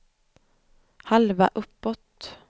halva uppåt